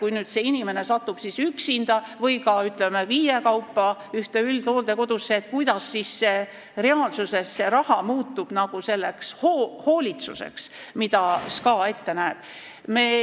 Kui selline inimene satub üksinda või kui nad satuvad ka, ütleme, viiekaupa ühte üldhooldekodusse, kuidas siis reaalsuses see raha muutub selleks hoolitsuseks, mida SKA ette näeb?